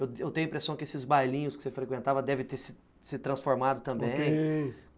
Eu tenho a impressão que esses bailinhos que você frequentava devem ter se se transformado também, ok.